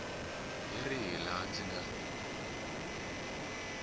hi rihi laha ndzi nga